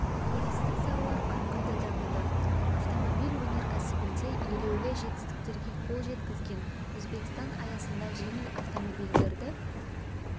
туристік салалар қарқынды дамыды автомобиль өнеркәсібінде елеулі жетістіктерге қол жеткізген өзбекстан аясында жеңіл автомобильдерді